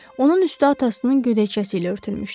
Onun üstü atasının gödəkçəsi ilə örtülmüşdü.